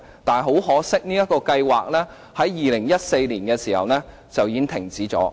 但很可惜，這個計劃在2014年已經停止。